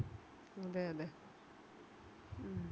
അതെയതെ ഉം